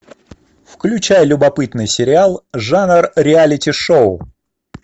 включай любопытный сериал жанр реалити шоу